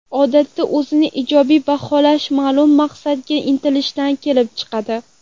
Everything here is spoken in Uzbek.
Odatda, o‘zini ijobiy baholash ma’lum maqsadga intilishdan kelib chiqadi.